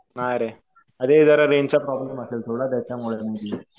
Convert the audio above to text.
नाही रे. अरे जरा रेंजचा प्रॉब्लेम असेल थोडा. त्याच्यामुळे